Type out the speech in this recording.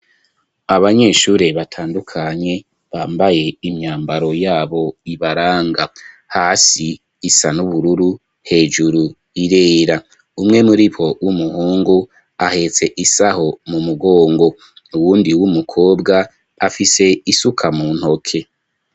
abanyeshure batandukanye bambaye imyambaro yabo ibaranga .Hasi isa n'ubururu ,hejuru irera, umwe muri bo w'umuhungu ahetse isaho mu mugongo Uwundi w'umukobwa afise isuka mu ntoke.